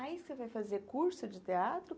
Aí você foi fazer curso de teatro?